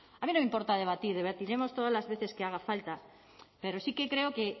a mí no me importa debatir debatiremos todas las veces que haga falta pero sí que creo que